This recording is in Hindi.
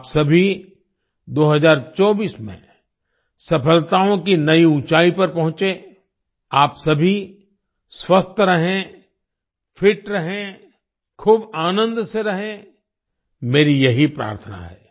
आप सभी 2024 में सफलताओं की नई ऊंचाई पर पहुंचे आप सभी स्वस्थ रहें फिट रहें खूब आनंद से रहें मेरी यही प्रार्थना है